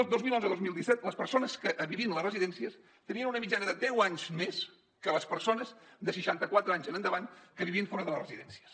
el dos mil onze dos mil disset les persones que vivien a les residències tenien una mitjana de deu anys més que les persones de seixanta quatre anys en endavant que vivien fora de les residències